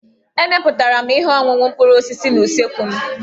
Emepụtara m ihe ọṅụṅụ mkpụrụ osisi n'usekwu m.